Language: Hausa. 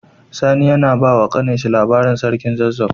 Sani yAna bawa kanin shi labarin sarkin zazzau